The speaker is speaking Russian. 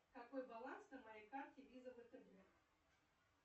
какой баланс на моей карте виза втб